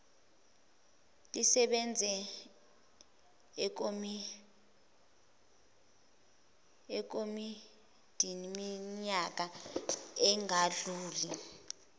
lisebenze ekomidiniiminyaka engadluli